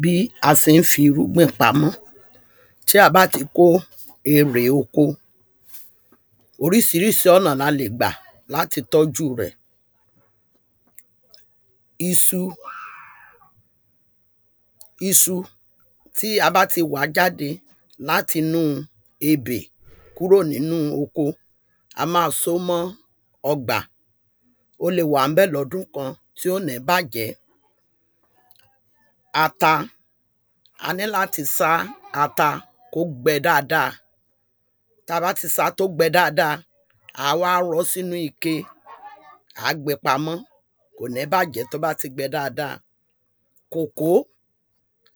Bí a se ń fi irúgbìn pamọ́ tí a bá ti kó erè oko orísirísi ọ̀nà la lè gbà láti tọ́jú rẹ̀. Isu isu tí a bá ti wàá jáde láti nú ebè kúrò nínú oko a má só mọ́ ọgbà ó le wà ńbẹ̀ lọ́dún kan tí ò ní bàjẹ́ ata a ní láti sá ata kó gbẹ dáada tá bá ti sá kó gbẹ dáada à wá rọ́ sínú ike à á gbé pamọ́ kò ní bàjẹ́ tó bá ti gbẹ dáada. Kòkó